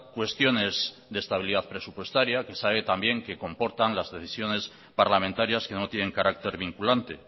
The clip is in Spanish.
cuestiones de estabilidad presupuestaria que sabe también que comportan las decisiones parlamentarias que no tienen carácter vinculante